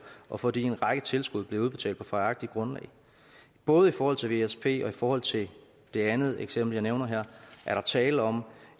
og fordi en række tilskud blev udbetalt på fejlagtigt grundlag både i forhold til vsp og i forhold til det andet eksempel jeg nævner her er der tale om